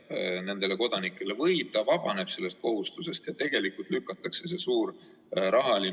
Oleme püüdnud lähtuda põhimõttest, et ettevõtjatele pandavad kohustused ja turujärelevalveasutustele antavad õigused on saavutada soovitud eesmärgiga proportsioonis.